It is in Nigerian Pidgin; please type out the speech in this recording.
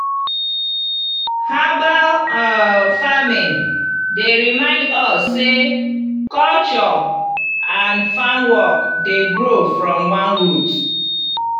herbal um farming dey remind us sey culture and farm work dey grow from one root.